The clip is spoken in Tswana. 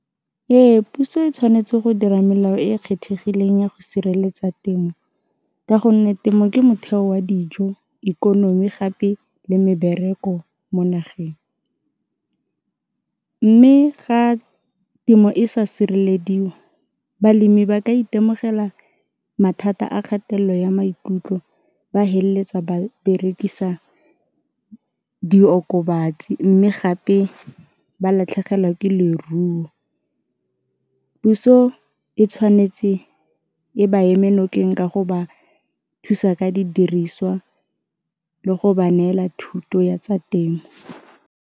Ee puso e tshwanetse go dira melao e e kgethegileng ya go sireletsa temo ka gonne temo ke motheo wa dijo, ikonomi gape le mebereko mo nageng. Mme ga temo e sa sirelediwa balemi ba ka itemogela mathata a kgatelelo ya maikutlo ba feleletsa ba berekisa diokobatsi mme gape ba latlhegelwa ke leruo, puso e tshwanetse e ba eme nokeng ka go ba thusa ka didiriswa le go ba neela thuto ya tsa temo.